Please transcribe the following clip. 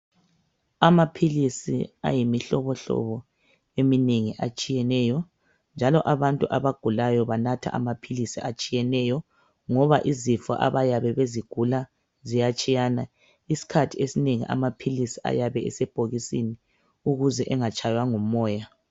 Amaphilisi ayimihlobohlobo eminengi atshiyeneyo njalo abantu abagulayo banatha amaphilisi atshiyeneyo ngoba izifo abayabe bezigula ziyatshiyana isikhathi esinengi amaphilisi ayabe esebhokisini ukuze angatshaywa ngumoya